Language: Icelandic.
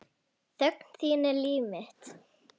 Þögn þín er líf mitt.